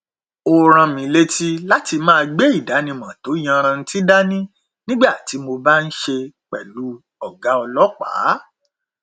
ó rán mi létí láti máa gbé ìdánimọ tó yanrantí dání nígbà tí mo bá n ṣe pẹlú ọgá ọlọpàá